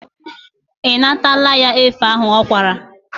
Ị natala ya efe ahụ ọ kwara?